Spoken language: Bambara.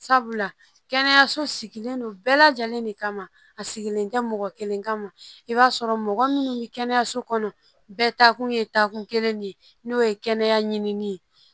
Sabula kɛnɛyaso sigilen don bɛɛ lajɛlen de kama a sigilen tɛ mɔgɔ kelen kama i b'a sɔrɔ mɔgɔ minnu bɛ kɛnɛyaso kɔnɔ bɛɛ taakun ye taakun kelen de ye n'o ye kɛnɛya ɲini ye